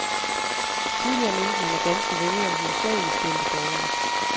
Tidligere mente man, at danske vælgere hovedsageligt stemte borgerligt.